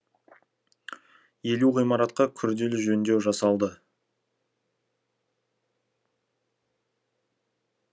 елу ғимаратқа күрделі жөндеу жасалды